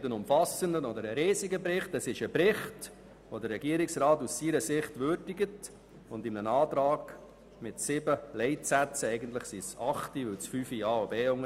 Es ist kein umfassender oder riesiger Bericht, doch der Regierungsrat würdigt das Ergebnis und legt ihn mit einem Antrag mit sieben Leitsätzen heute dem Grossen Rat vor.